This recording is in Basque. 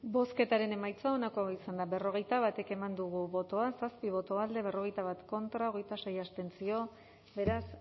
bozketaren emaitza onako izan da berrogeita bat eman dugu bozka zazpi boto alde berrogeita bat contra hogeita sei abstentzio beraz